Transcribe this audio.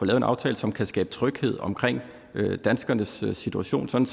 en aftale som kan skabe tryghed om danskernes situation sådan